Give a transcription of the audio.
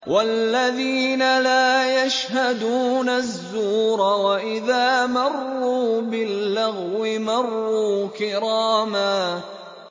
وَالَّذِينَ لَا يَشْهَدُونَ الزُّورَ وَإِذَا مَرُّوا بِاللَّغْوِ مَرُّوا كِرَامًا